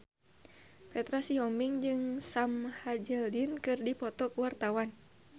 Petra Sihombing jeung Sam Hazeldine keur dipoto ku wartawan